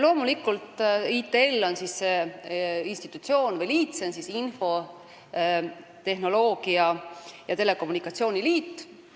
Loomulikult, ITL on see institutsioon või liit, s.o Eesti Infotehnoloogia ja Telekommunikatsiooni Liit.